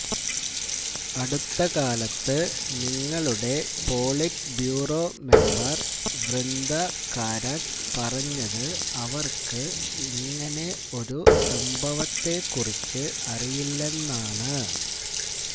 അടുത്ത കാലത്ത് നിങ്ങളുടെ politburo member Brinda Karat പറഞ്ഞത് അവര്ക്കു ഇങ്ങനെ ഒരു സംഭവത്തെ കുറിച്ച് അറിയില്ലെന്നാണ്